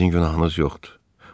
Sizin günahınız yoxdur.